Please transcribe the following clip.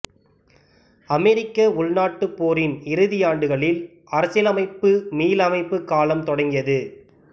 அமெரிக்க உள்நாட்டுப் போரின் இறுதியாண்டுகளில் அரசியலமைப்பு மீளமைப்பு காலம் தொடங்கியது